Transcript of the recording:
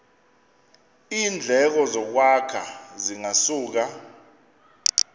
iindleko zokwakha zingasuka